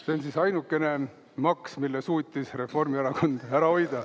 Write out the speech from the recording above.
See on siis ainukene maks, mille suutis Reformierakond ära hoida.